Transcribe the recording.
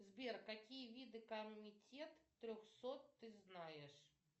сбер какие виды комитет трехсот ты знаешь